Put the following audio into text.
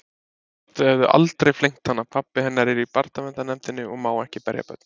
Þau hefðu aldrei flengt hana, pabbi hennar er í barnaverndarnefndinni og má ekki berja börn